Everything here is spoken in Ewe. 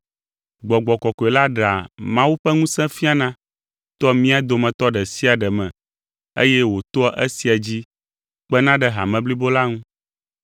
Gbɔgbɔ Kɔkɔe la ɖea Mawu ƒe ŋusẽ fiana toa mía dometɔ ɖe sia ɖe me eye wòtoa esia dzi kpena ɖe hame blibo la ŋu.